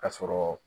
Ka sɔrɔ